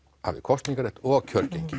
hafi kosningarétt og kjörgengi